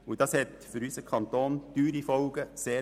Dies hat für unseren Kanton sehr hohe Kostenfolgen.